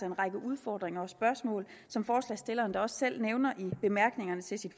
en række udfordringer og spørgsmål som forslagsstilleren da også selv nævner i bemærkningerne til sit